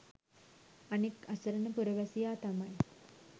අනික්‌ අසරණ පුරවැසියා තමයි